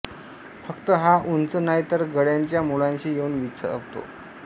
फक्त हा उंच नाही तर गळ्याच्या मुळाशी येऊन विसावतो